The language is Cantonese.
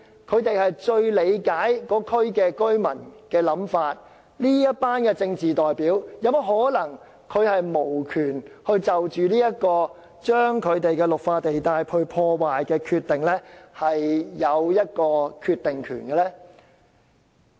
他們是最理解區內居民的想法，但為甚麼這群政治代表未能就着破壞區內綠化地帶的政策，有一個決定權？